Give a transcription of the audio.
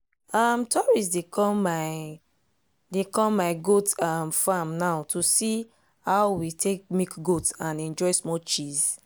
um tourists dey come my dey come my goat um farm now to see how we take milk goat and enjoy small cheese